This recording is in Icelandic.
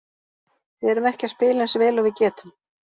Við erum ekki að spila eins vel og við getum.